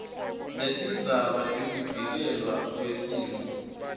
letindzaba tekuvikelelwa kwesimo